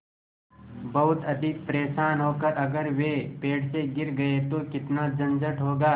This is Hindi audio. बहुत अधिक परेशान होकर अगर वे पेड़ से गिर गए तो कितना झंझट होगा